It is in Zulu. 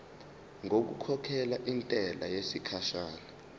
ngokukhokhela intela yesikhashana